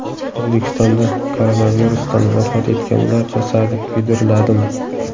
O‘zbekistonda koronavirusdan vafot etganlar jasadi kuydiriladimi?.